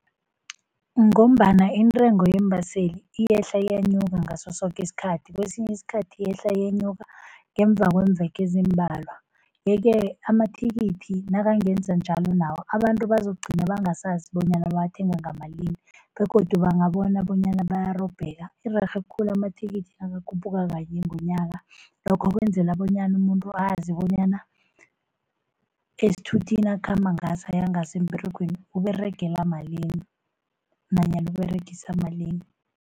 Ngombana intengo yeembaseli iyehla iyenyuke ngaso soke isikhathi. Kwesinye isikhathi iyehla iyenyuka ngemva kweemveke ezimbalwa. Yeke amathikithi nakangenza njalo nawo abantu bazokugcina bangasazi bonyana bawathenga ngamalini begodu bangabona bonyana bayarobheka. Irerhe khulu amathikithi nakakhuphuka kanye ngonyaka, lokho kwenzela bonyana umuntu azi bonyana esithuthini akhamba ngaso, ayangaso emberegweni uberegela malini nanyana uberegisa malini.